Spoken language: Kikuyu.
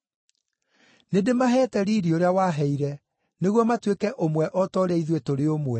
Nĩndĩmaheete riiri ũrĩa waheire, nĩguo matuĩke ũmwe o ta ũrĩa ithuĩ tũrĩ ũmwe,